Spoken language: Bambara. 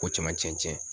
Ko caman cɛn cɛn